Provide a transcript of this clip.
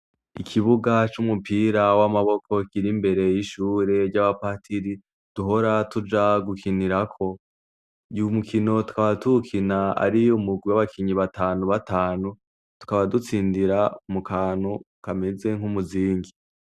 Ikibuga c'umupira w'amaboko kiri imbere y'ishure ry'abapatiri, duhora tuja gukinirako. Uyu mukino tukaba tuwukina ari umugwi w'abakinyi batanu batanu, tukaba dutsindira mu kantu kameze nk'umuzingi.